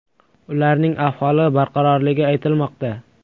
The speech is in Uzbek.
Ularning ahvoli barqarorligi aytilmoqda.